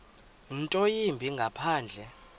nto yimbi ngaphandle